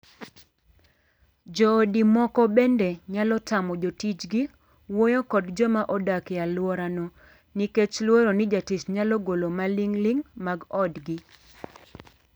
Joodi moko bende nyalo tamo jotijgi wuoyo kod joma odak e aluorano nikech luoro ni jatich nyalo golo maling'ling' mag odgi.